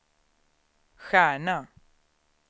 stjärna